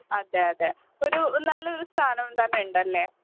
അതെ അതെഒരു നല്ലൊരു സ്ഥാനം തന്നെ ഉണ്ടല്ലേ .